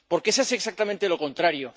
Porque se hace exactamente lo contrario.